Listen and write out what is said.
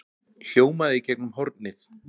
hljómaði í gegnum hornið.